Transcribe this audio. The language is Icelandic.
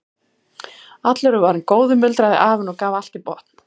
Allur er varinn góður muldraði afinn og gaf allt í botn.